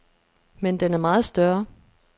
Men den er meget større.